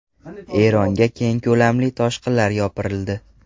Eronga keng ko‘lamli toshqinlar yopirildi.